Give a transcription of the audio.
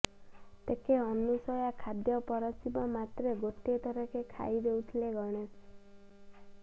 ତେକେ ଅନସୂୟା ଖାଦ୍ୟ ପରଶିବା ମାତ୍ରେ ଗୋଟିଏ ଥରକେ ଖାଇ ଦେଉଥିଲେ ଗଣେଷ